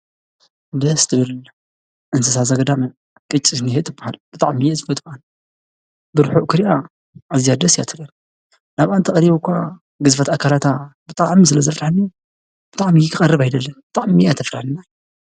ደስ ትብል እንስሳ ዘገዳም ቅጭኔ ትበሃል፡፡ ብጣዕሚ እየ ዝፈትዋ፡፡ ብርሑቕ ክሪኣ ኣዝያ ደስ እያ ትብለኒ፡፡ ናብኣ እንተቐሪበ እዃ ግዝፈት ኣካላታ ብጣዕሚ ስለዘፍርሐኒ ብጣዕሚ ክቐርብ ኣይደልን፡፡ ብጣዕሚ እያ ተፍርሐኒ ነዓይ፡፡